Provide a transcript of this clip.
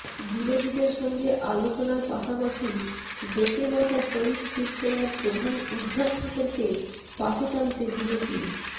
বিরোধীদের সঙ্গে আলোচনার পাশাপাশি বেঁকে বসা শরিক শিবসেনার প্রধান উদ্ধব ঠাকরেকে পাশে টানতে বিজেপি